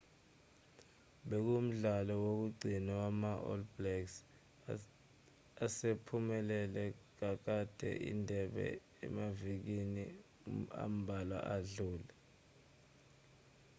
bekuwumdlalo wokugcina wama-all blacks asephumelele kakade indebe emavikini ambalwa adlule